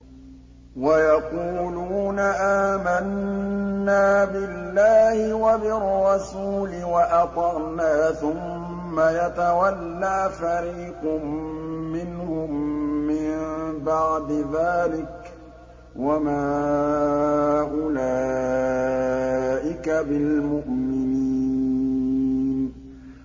وَيَقُولُونَ آمَنَّا بِاللَّهِ وَبِالرَّسُولِ وَأَطَعْنَا ثُمَّ يَتَوَلَّىٰ فَرِيقٌ مِّنْهُم مِّن بَعْدِ ذَٰلِكَ ۚ وَمَا أُولَٰئِكَ بِالْمُؤْمِنِينَ